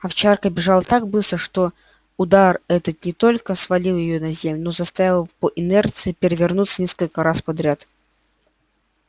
овчарка бежала так быстро что удар этот не только свалил её на землю но заставил по инерции перевернуться несколько раз подряд